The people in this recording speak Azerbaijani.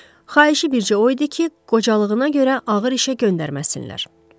Xahişi bircə o idi ki, qocalığına görə ağır işə göndərməsinlər.